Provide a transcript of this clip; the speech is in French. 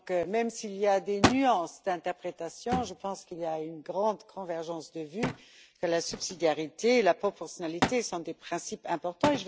Même s'il y a des nuances d'interprétation, je pense qu'il y a une grande convergence de vues sur le fait que la subsidiarité et la proportionnalité sont des principes importants.